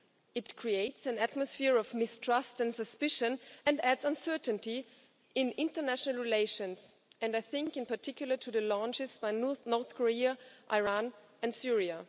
It creates an atmosphere of mistrust and suspicion and adds uncertainty in international relations I am thinking, in particular, of the launches by North Korea, Iran and Syria.